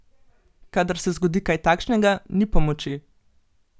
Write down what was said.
Kadar se zgodi kaj takšnega, ni pomoči!